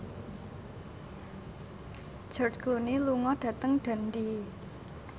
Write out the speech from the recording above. George Clooney lunga dhateng Dundee